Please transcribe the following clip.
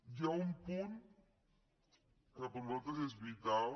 hi ha un punt que per nosaltres és vital